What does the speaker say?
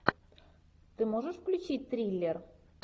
ты можешь включить триллер